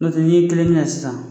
Nɔ tɛ n' ye tɛgɛnin ka la sisan.